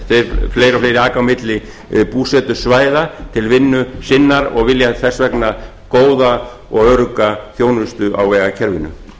fleiri og fleiri aka á milli búsetusvæða til vinnu sinnar og vilja þess vegna góða og örugga þjónustu á vegakerfinu útgjöld